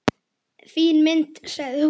Fín mynd, sagði hún.